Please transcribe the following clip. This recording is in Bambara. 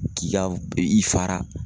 K'i ka i fara